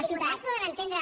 els ciutadans poden entendre